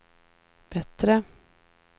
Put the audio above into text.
bättre